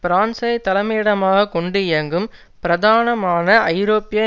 பிரான்சை தலைமையிடமாக கொண்டு இயங்கும் பிரதானமான ஐரோப்பிய